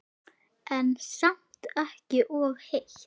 En samt ekki of heitt.